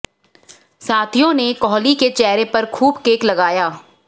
साथियों ने कोहली के चेहरे पर खूब केक लगाया